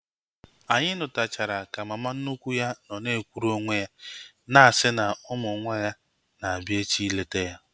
Anyị nuchatara ka mama nnukwu ya nọ na-ekwuru onwe ya na-asị na ụmụ nwa ya na-abịa echi ileta ya